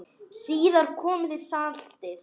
Síðar kom saltið.